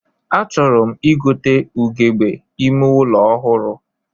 A chọrọ m igote ugegbe ime ụlọ ọhụrụ